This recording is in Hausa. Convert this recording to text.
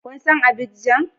Kun san Abidjan?